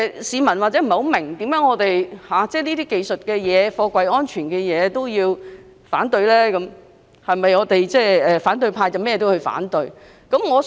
市民或許不明白我們為何要反對有關貨櫃安全的技術性修訂，甚或質疑反對派是否凡事皆要反對。